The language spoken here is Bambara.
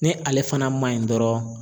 Ni ale fana maɲi dɔrɔn.